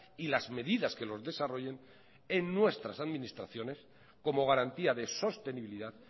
y las medidas que los desarrollen en nuestras administraciones como garantía de sostenibilidad